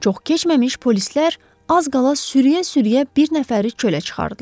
Çox keçməmiş polislər az qala sürüyə-sürüyə bir nəfəri çölə çıxardılar.